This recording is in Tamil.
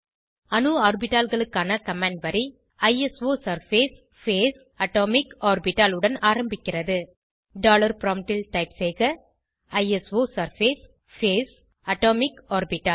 அணு ஆர்பிட்டால்களுக்கான கமாண்ட் வரி ஐசோசர்ஃபேஸ் பேஸ் அட்டோமிக் ஆர்பிட்டல் உடன் ஆரம்பிக்கிறது டாலர் ப்ராம்ப்ட் ல் டைப் செய்க ஐசோசர்ஃபேஸ் பேஸ் அட்டோமிக் ஆர்பிட்டல்